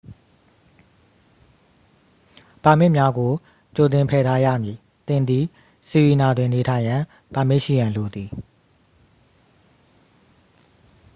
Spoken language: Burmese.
ပါမစ်များကို ကြိုတင်ဖယ်ထားရမည် သင်သည် ဆီရီနာတွင် နေထိုင်ရန် ပါမစ်ရှိရန်လိုသည်